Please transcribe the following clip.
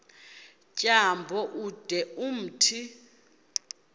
tyambo ude umthi